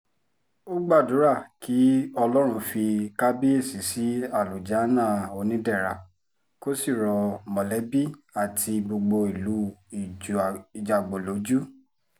ó gbàdúrà kí ọlọ́run fi kàbàyèsí sí àlùjánnà onídẹra kó sì rọ mọ̀lẹ́bí àti gbogbo ìlú ìjágbó lójú